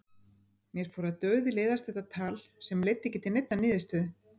Mér fór að dauðleiðast þetta tal sem leiddi ekki til neinnar niðurstöðu.